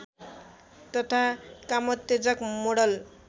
तथा कामोत्तेजक मोडल